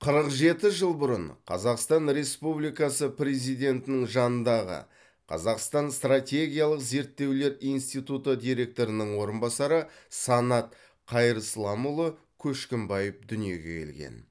қырық жеті жыл бұрын қазақстан республикасы президентінің жанындағы қазақстан стратегиялық зерттеулер институты директорының орынбасары санат қайырсламұлы көшкімбаев дүниеге келген